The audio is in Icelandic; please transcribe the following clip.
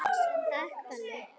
Takk Palli.